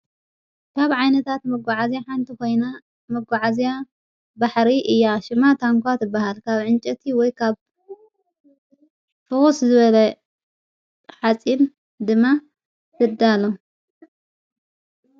ካብ ዓይነታት መጐዓዝያ ሓንቲ ኾይና መጐዓእዝያ ባሕሪ እያ ሽማዕ ታምቋትበሃል ካብ ዕንጨቲ ወይ ኻብ ፍዉስ ዝበለ ኃፂን ድማ ይዳሎ።